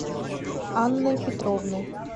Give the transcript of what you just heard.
анной петровной